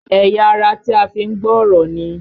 Ẹ̀yà ara tí a fi ń gbọ́ ọ̀rọ̀ ni?